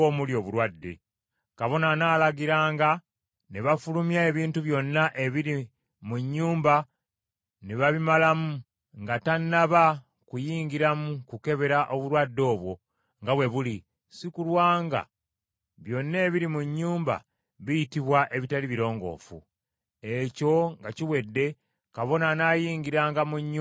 Kabona anaalagiranga ne bafulumya ebintu byonna ebiri mu nnyumba ne babimalamu, nga tannaba kuyingiramu kukebera obulwadde obwo nga bwe buli, si kulwa nga byonna ebiri mu nnyumba biyitibwa ebitali birongoofu. Ekyo nga kiwedde kabona anaayingiranga mu nnyumba n’agikebera.